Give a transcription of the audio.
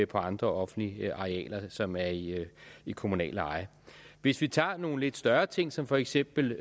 på andre offentlige arealer som er i i kommunalt eje hvis vi tager nogle større ting som for eksempel